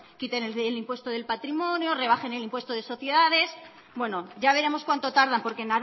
quiten el impuesto del patrimonio rebajen el impuesto de sociedades bueno ya veremos cuánto tardan porque